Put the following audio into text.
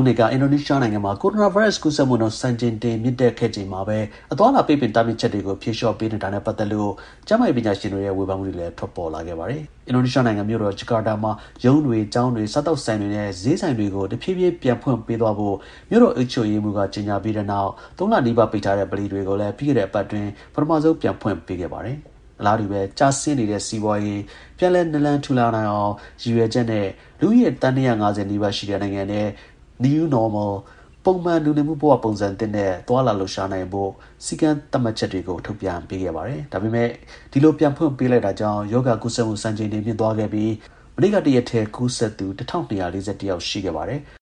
းနေ့ကအင်ဒိုနီးရှားနိုင်ငံမှာ ကိုရိုနာဗိုင်းရပ်စ်ကူးစက်မှုနှုန်း စံချိန်တင်မြင့်တက်ခဲ့ချိန်မှာပဲ အသွားအလာ ပိတ်ပင်တား မြစ်ချက်တွေကို ဖြေလျှော့ပေးနေတာနဲ့ ပတ်သက်လို့ ကျန်းမာရေးပညာရှင်တွေရဲ့ ဝေဖန်မှုတွေလည်း ထွက်ပေါ်ခဲ့ပါတယ်။ အင်ဒိုနီးရှားနိုင်ငံ မြို့တော် Jakarta မှာ ရုံးတွေ၊ ကျောင်းတွေ၊ စားသောက်ဆိုင်တွေနဲ့ ဈေးဆိုင်တွေကို တဖြည်းဖြည်း ပြန်ဖွင့် ပေးသွားဖို့ မြို့တော်အုပ်ချုပ်ရေးမှူးက ကြေညာပြီးတဲ့နောက် ၃ လနီးပါးပိတ်ထားတဲ့ ဗလီတွေကိုလည်း ပြီးခဲ့တဲ့ အပတ်တွင်း ပထမဆုံးအကြိမ် ပြန်ဖွင့်ပေးခဲ့တာပါ။ အလားတူပဲ ကျဆင်းနေတဲ့ စီးပွားရေးပြန်လည်နလန်ထူနိုင်အောင် ရည်ရွယ်ချက်နဲ့ လူဦးရေ သန်း ၂၇၀ နီးပါးရှိတဲ့ နိုင်ငံထဲ "New Normal" ပုံမှန် လူနေမှု ဘဝ ပုံစံသစ်နဲ့ သွားလာလှုပ်ရှားနိုင်ဖို့ စည်းမျဉ်းကန့်သတ် ချက်တွေ ထုတ်ပြန်ပေးခဲ့တာပါ။ ဒါပေမဲ့ ဒီလို ပြန်ဖွင့်ပေးလိုက်တာကြောင့် ရောဂါကူးစက်မှုစံချိန်တင်မြင့်သွားခဲ့ပြီး မနေ့က တရက်တည်း ကူးစက်သူ ၁၂၄၁ ယောက်ရှိခဲ့ပါတယ်။